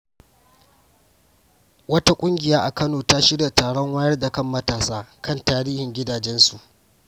Wata ƙungiya a Kano ta shirya taron wayar da kan matasa kan tarihin gidajensu.